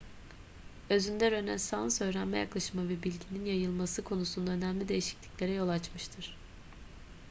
özünde rönesans öğrenme yaklaşımı ve bilginin yayılması konusunda önemli değişikliklere yol açmıştır